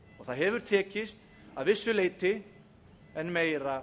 það hefur tekist að vissu leyti en meira